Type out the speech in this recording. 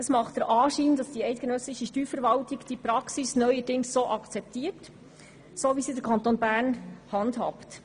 Es macht den Anschein, dass die eidgenössische Steuerverwaltung die Praxis neuerdings so akzeptiert, wie sie der Kanton Bern handhabt.